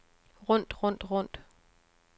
rundt rundt rundt